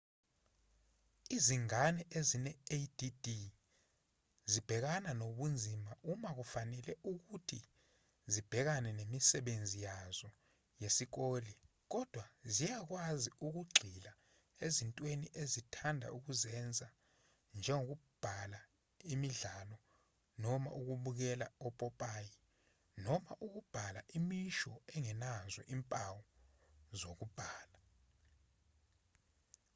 izingane ezine-add zibhekana nobunzima uma kufanele ukuthi zibhekane nemisebenzi yazo yesikole kodwa ziyakwazi ukugxila ezintweni ezithanda ukuzenza njengokudlala imidlalo noma ukubukela opopayi noma ukubhala imisho engenazo izimpawo zokubhala